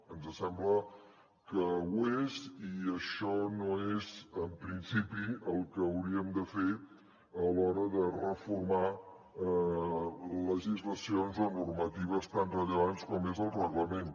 ens sembla que ho és i això no és en principi el que hauríem de fer a l’hora de reformar legislacions o normatives tan rellevants com és el reglament